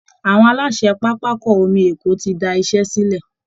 Àwọn aláṣẹ pápákọ omi Èkó ti da iṣẹ́ sílẹ̀